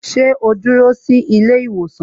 Sẹ́ ó dúró sí ilé ìwòsàn?